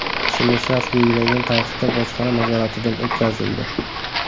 ismli shaxs belgilangan tartibda bojxona nazoratidan o‘tkazildi.